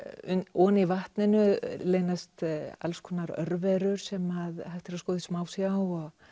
ofan í vatninu leynast alls konar örverur sem hægt er að skoða í smásjá og